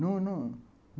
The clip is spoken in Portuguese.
Não, não.